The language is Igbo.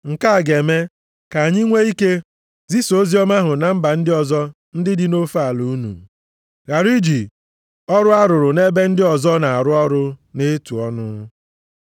Nke a ga-eme ka anyị nwee ike zisaa oziọma ahụ na mba ndị ọzọ ndị dị nʼofe ala unu, ghara iji ọrụ arụrụ nʼebe ndị ọzọ na-arụ ọrụ na-etu ọnụ.